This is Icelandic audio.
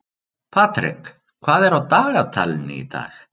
Patrek, hvað er á dagatalinu í dag?